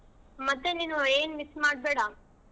ಮತ್ತೆ ನೀನು ಏನ್ miss ಮಾಡ್ಬೇಡಾ.